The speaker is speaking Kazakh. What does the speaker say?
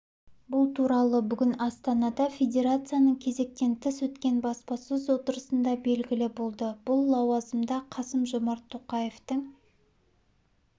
бұл туралы бүгін астанада федерацияның кезектен тыс өткен баспасөз отырысында белгілі болды бұл лауазымда қасым-жомарт тоқаевтың